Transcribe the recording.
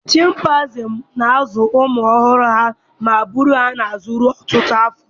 Chimpanzees na-azụ ụmụ ọhụrụ ha ma buru ha n'azụ ruo ọtụtụ afọ.